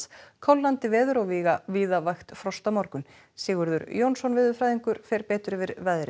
kólnandi veður og víða víða vægt frost á morgun Sigurður Jónsson veðurfræðingur fer betur yfir veðurhorfurnar